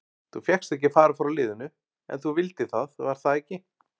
Þú fékkst ekki að fara frá liðinu en þú vildir það var það ekki?